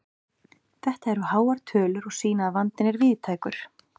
Þetta eru háar tölur og sýna að vandinn er víðtækur.